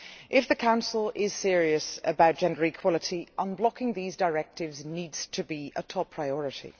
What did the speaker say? If the Council is serious about gender equality, unblocking these directives needs to be a top priority.